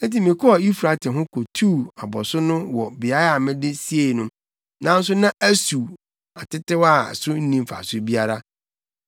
Enti mekɔɔ Eufrate ho kotuu abɔso no wɔ beae a mede siei no, nanso na asuw atetew a so nni mfaso biara.